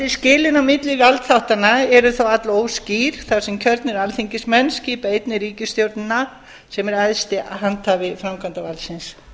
skilin á milli valdþáttanna eru þó allóskýr þar sem kjörnir alþingismenn skipa einnig ríkisstjórnina sem er æðsti handhafi framkvæmdarvaldsins